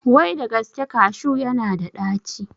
Wai da gaske kashu ya na da ɗaci?